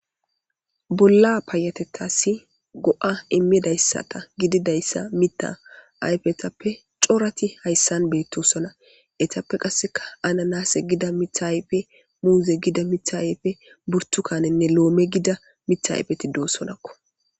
Bolla payatettasi go7a immidayssata gididayssa mita ayfetappe corati hayssan beettosona etappe qasseka ana naase gida mithaype muuze gida mithayepfe burtukanenne loome gida mithaypeti doossonakko.